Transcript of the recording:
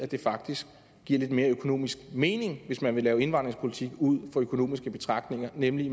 det faktisk giver lidt mere økonomisk mening hvis man vil lave indvandringspolitik ud fra økonomiske betragtninger nemlig